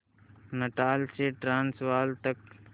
Natal से Transvaal तक